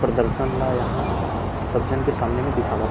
प्रदर्शन ला यहाँ सब झन के सामने म दिखावत हे।